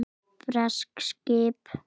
Bresk skip!